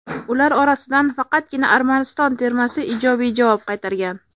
Ular orasidan faqatgina Armaniston termasi ijobiy javob qaytargan.